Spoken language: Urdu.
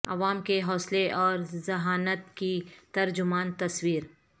عوا م کے حو صلے اور ذ ہانت کی تر جمان تصویر